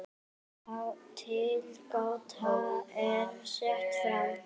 Tilgáta er sett fram.